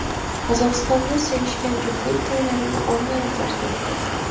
Qozog‘istonda sevishgan juftlik to‘ylarini onlayn tarzda o‘tkazdi .